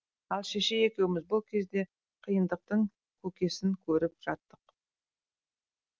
ал шешей екеуміз бұл кезде қиындықтың көкесін көріп жаттық